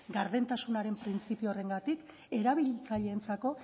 gardentasunaren printzipio horrengatik erabiltzaileentzako